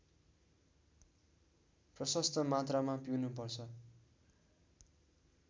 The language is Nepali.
प्रशस्त मात्रामा पिउनुपर्छ